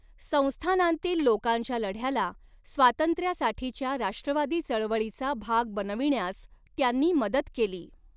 संस्थानांतील लोकांच्या लढ्याला स्वातंत्र्यासाठीच्या राष्ट्रवादी चळवळीचा भाग बनविण्यास त्यांनी मदत केली.